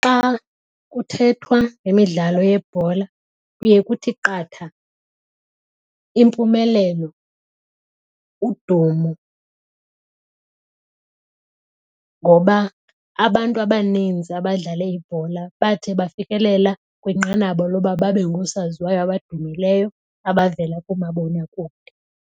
Xa kuthethwa ngemidlalo yebhola kuye kuthi qatha impumelelo udumo ngoba abantu abaninzi abadlale ibhola bathe bafikelela kwinqanaba lokuba babe ngoosaziwayo abadumileyo abavela koomabonakude.